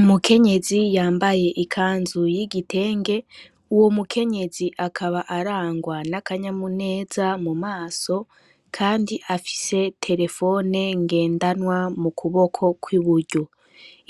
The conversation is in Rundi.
Umukenyezi yambaye ikanzuy'igitenge uwo mukenyezi akaba arangwa n'akanyamuneza mu maso, kandi afise terefone ngendanwa mu kuboko kw'iburyo,